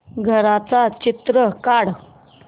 घराचं चित्र काढ